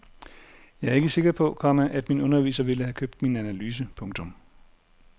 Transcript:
Jeg er ikke sikker på, komma at min underviser ville have købt min analyse. punktum